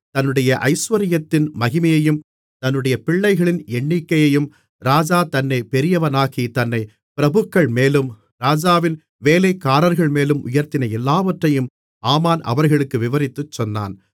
தன்னுடைய ஐசுவரியத்தின் மகிமையையும் தன்னுடைய பிள்ளைகளின் எண்ணிக்கையையும் ராஜா தன்னைப் பெரியவனாக்கி தன்னைப் பிரபுக்கள்மேலும் ராஜாவின் வேலைக்காரர்கள்மேலும் உயர்த்தின எல்லாவற்றையும் ஆமான் அவர்களுக்கு விவரித்துச் சொன்னான்